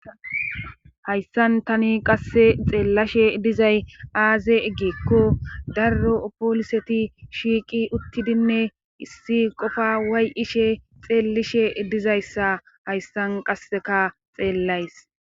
hayssan tani qasse xeellashe dizay aazee gikko darro pooliseti shiiqi uttidinne issi qofa way7ishe xeellishe dizayssa hayssan qasseka xeellays